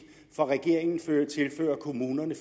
for regeringen tilfører kommunerne